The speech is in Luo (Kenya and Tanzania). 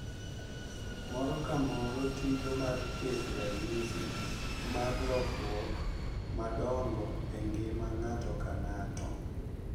Moro ka moro tiyo mar keto ranyisi mar lokruok madongo e ngima ng’ato ka ng’ato.